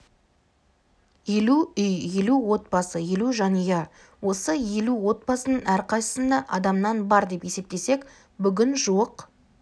елу үй елу отбасы елу жанұя осы елу отбасының әрқайсысында адамнан бар деп есептесек бүгін жуық